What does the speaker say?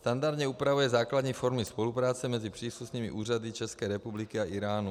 Standardně upravuje základní formy spolupráce mezi příslušnými úřady české republiky a Íránu.